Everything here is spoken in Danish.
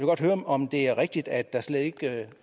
godt høre om det er rigtigt at der slet ikke